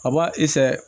A b'a i fɛ